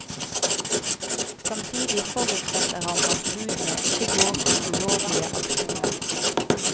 Samtidig forutsetter han at budene ikke går til ulovlige aksjoner.